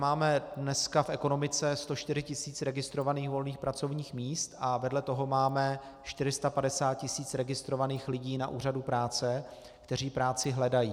Máme dneska v ekonomice 104 tisíc registrovaných volných pracovních míst a vedle toho máme 450 tisíc registrovaných lidí na úřadu práce, kteří práci hledají.